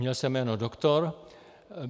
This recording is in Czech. Měl jsem jméno Doktor.